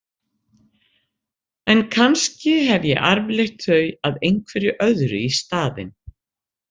En kannski hef ég arfleitt þau að einhverju öðru í staðinn.